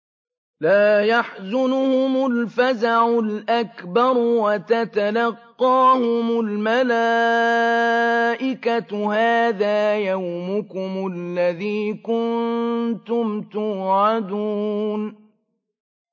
لَا يَحْزُنُهُمُ الْفَزَعُ الْأَكْبَرُ وَتَتَلَقَّاهُمُ الْمَلَائِكَةُ هَٰذَا يَوْمُكُمُ الَّذِي كُنتُمْ تُوعَدُونَ